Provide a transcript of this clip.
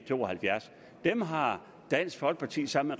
to og halvfjerds dem har dansk folkeparti sammen